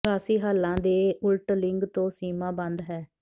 ਨਿਵਾਸੀ ਹਾਲਾਂ ਦੇ ਉਲਟ ਲਿੰਗ ਤੋਂ ਸੀਮਾ ਬੰਦ ਹੈ